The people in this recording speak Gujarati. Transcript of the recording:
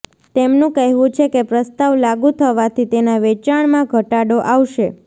તેમનું કહેવું છે કે પ્રસ્તાવ લાગૂ થવાથી તેના વેચાણમાં ઘટાડો આવશે